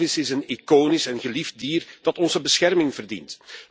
De walvis is een iconisch en geliefd dier, dat onze bescherming verdient.